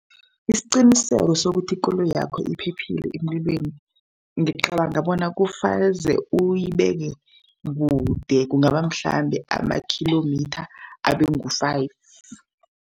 Isiqiniseko sokuthi ikoloyakho iphephile emlilweni, ngicabanga bona kufaze uyibeke kude, kungaba mhlambe amakhilomitha abe ngu-five.